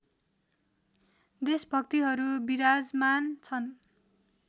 देशभक्तिहरू विराजमान छन्